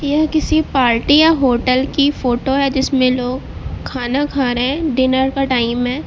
यह किसी पार्टी या होटल की फोटो है जिसमें लोग खाना खा रहे हैं डिनर का टाइम है।